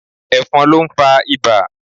Ẹ̀fọ̀n ló ń fa ibà.